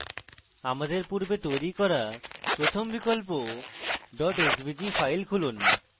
আমাদের পূর্বে তৈরী করা প্রথম বিকল্প svg file খুলুন